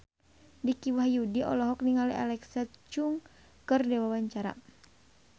Dicky Wahyudi olohok ningali Alexa Chung keur diwawancara